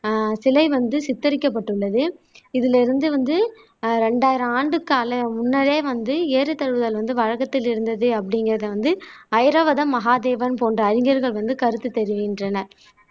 ஆஹ் சிலை வந்து சித்தரிக்கப்பட்டுள்ளது இதுல இருந்து வந்து ஆஹ் ரெண்டாயிரம் ஆண்டு கால முன்னரே வந்து ஏறுதழுவுதல் வந்து வழக்கத்தில் இருந்தது அப்படிங்கிறதை வந்து ஐராவதம் மகாதேவன் போன்ற அறிஞர்கள் வந்து கருத்து தெரிவிக்கின்றனர்